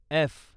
F